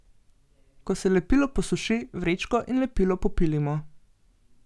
Ko se lepilo posuši, vrečko in lepilo popilimo.